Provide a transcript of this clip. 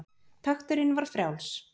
Takturinn var frjáls.